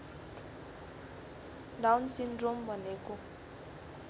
down syndrome भनेको